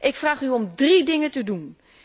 Ik vraag u om drie dingen te